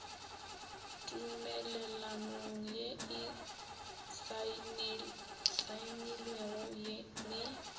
tumelelanong ye e saenilwego le